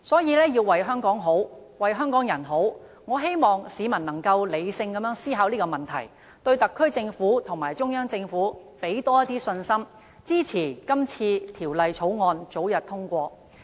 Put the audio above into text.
因此，為了香港好、香港人好，我希望市民能理性思考這問題，對特區政府和中央政府多些信心，支持《條例草案》早日通過。